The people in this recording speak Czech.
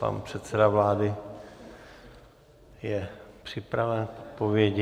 Pan předseda vlády je připraven k odpovědi.